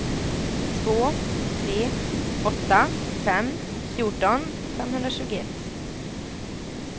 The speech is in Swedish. två tre åtta fem fjorton femhundratjugoett